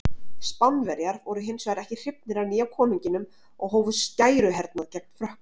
Spánverjar voru hins vegar ekki hrifnir af nýja konunginum og hófu skæruhernað gegn Frökkum.